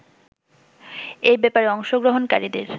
এ ব্যাপারে অংশগ্রহণকারীদের